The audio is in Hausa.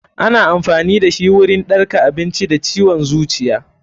Ana amfani dashi wurin ɗarka abinci da ciwon zuciya.